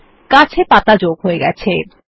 গাছ এ পাতা যোগ হয়ে গেছে160